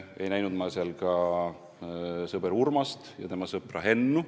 Ma ei näinud seal ka sõber Urmast ja tema sõpra Hennu.